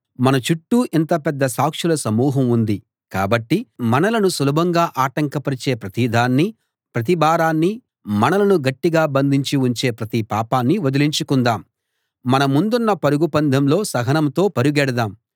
మన చుట్టూ ఇంత పెద్ద సాక్షుల సమూహం ఉంది కాబట్టి మనలను సులభంగా ఆటంకపరిచే ప్రతిదాన్నీ ప్రతి భారాన్నీ మనలను గట్టిగా బంధించి ఉంచే ప్రతి పాపాన్నీ వదిలించుకుందాం మన ముందున్న పరుగు పందెంలో సహనంతో పరుగెడదాం